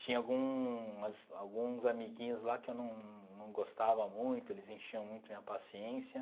Tinha alguns alguns amiguinhos lá que eu não não gostava muito, eles enchiam muito a minha paciência.